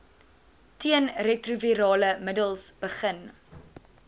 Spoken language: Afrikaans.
teenretrovirale middels begin